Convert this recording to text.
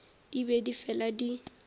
di be di fela di